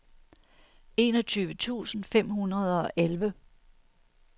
enogtyve tusind fem hundrede og elleve